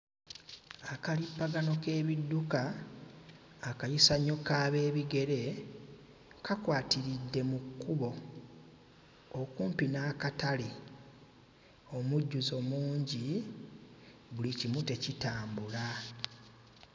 Akalippagano k'ebidduka, akayisanyo k'ab'ebigere kakwatiridde mu kkubo okumpi n'akatale, omujjuzo mungi buli kimu tekitambula.